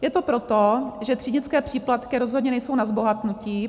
Je to proto, že třídnické příplatky rozhodně nejsou na zbohatnutí.